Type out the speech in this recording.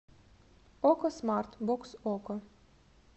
окко смарт бокс окко